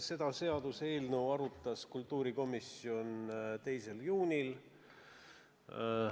Seda seaduseelnõu arutas kultuurikomisjon 2. juulil.